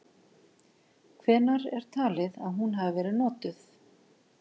Hvenær er talið að hún hafi verið notuð?.